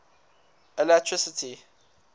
alatricity